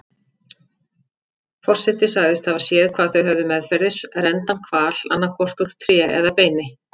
Forseti sagðist hafa séð hvað þau höfðu meðferðis, renndan hval, annaðhvort úr tré eða beini.